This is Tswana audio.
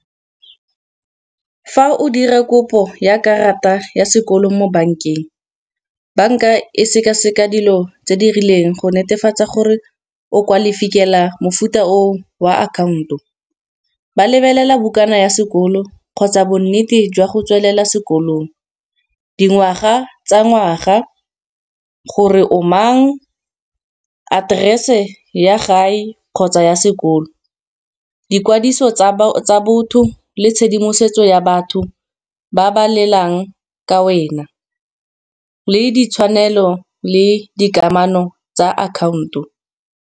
Fa o dira kopo ya karata ya sekolo mo bank-eng, bank-a e sekaseka dilo tse di rileng go netefatsa gore o kwalifikela mofuta o wa account-o. Ba lebelela bokana ya sekolo kgotsa bonnete jwa go tswelela sekolong, dingwaga tsa ngwaga gore o mang, aterese ya gae kgotsa ya sekolo, boikwadiso tsa botho le tshedimosetso ya batho ba ba lelang ka wena, le ditshwanelo le dikamano tsa account-o.